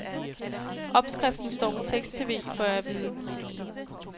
Opskriften står på teksttv, får jeg at vide.